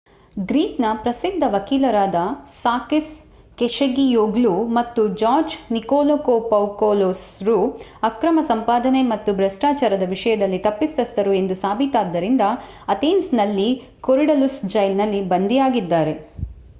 Greek ನ ಪ್ರಸಿದ್ಧ ವಕೀಲರಾದ ಸಾಕಿಸ್ ಕೆಶಗಿಯೋಗ್ಲು ಮತ್ತು ಜಾರ್ಜ್ ನಿಕೋಲಕೋಪೌಕೊಲೊಸ್ ರು ಅಕ್ರಮ ಸಂಪಾದನೆ ಮತ್ತು ಭ್ರಷ್ಟಾಚಾರದ ವಿಷಯದಲ್ಲಿ ತಪ್ಪಿತಸ್ಥರು ಎಂದು ಸಾಬೀತಾದ್ದರಿಂದ ಅಥೆನ್ಸ್ ನ ಕೊರಿಡಲುಸ್ ಜೈಲಿನಲ್ಲಿ ಬಂಧಿಯಾಗಿದ್ದಾರೆ